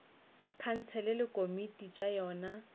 khansele le dikomiti tša yona